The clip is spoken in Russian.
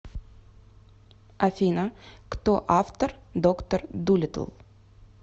афина кто автор доктор дулиттл